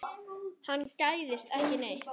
Hann gægðist ekki neitt.